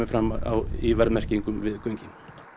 fram í verðmerkingum við göngin